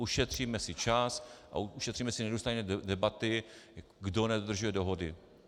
Ušetříme si čas a ušetříme si nedůstojné debaty, kdo nedodržuje dohody.